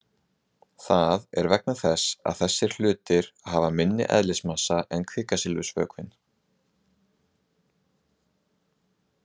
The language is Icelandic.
Það er vegna þess að þessir hlutir hafa minni eðlismassa en kviksilfursvökvinn.